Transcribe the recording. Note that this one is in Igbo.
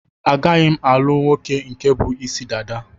A gaghi m-alugh nwoke nke bu Ịsị dada?